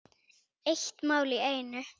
Eitt mál í einu.